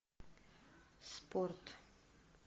спорт